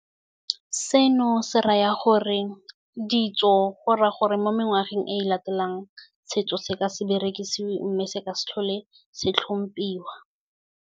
Seno se raya gore, ditso go raya gore, mo mengwageng e e latelang, setso se ka se berekisiwe, mme se ka se tlhole se tlhomphiwa.